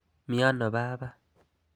Mi ano baba?